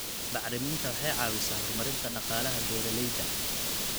Bacriminta waxay caawisaa horumarinta dhaqaalaha beeralayda.